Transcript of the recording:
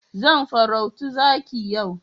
Zan farauto zaki yau.